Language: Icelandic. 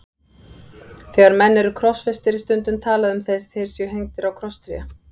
Þegar menn eru krossfestir er stundum talað um að þeir séu hengdir á krosstré.